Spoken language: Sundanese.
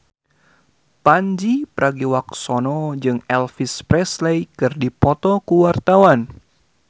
Pandji Pragiwaksono jeung Elvis Presley keur dipoto ku wartawan